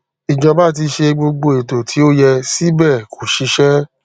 ìjọba ti ṣe gbogbo ètò tí ó yẹ síbẹ kò ṣiṣẹ